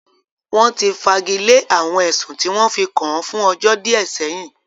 Wọ́n ti fagilé àwọn ẹ̀sùn tí wọ́n fi kàn án fún ọjọ́ díẹ̀ sẹ́yìn